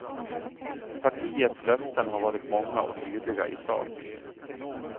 Partiets löften har varit många och tydliga i sak.